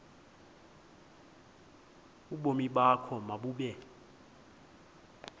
ubomi bakho mabube